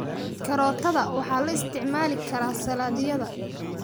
Karootada waxaa loo isticmaali karaa saladhyada.